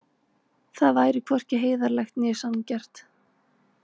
Það væri hvorki heiðarlegt né sanngjarnt.